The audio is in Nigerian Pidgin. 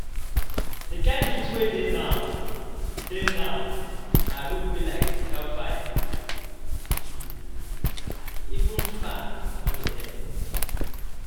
The kyn heat wey dey now, dey now, my room be like hellfire. Even the fan no dey help